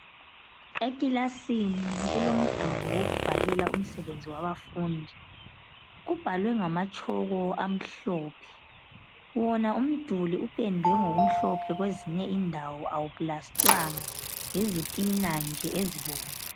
Ekilasini kulomduli wokubhalela umsebenzi wabafundi. Kubhalwe ngamatshoko amhlophe, wona umduli upendwe ngokumhlophe kwezinye indawo awuplastwanga, yizitina nje ezibomvu.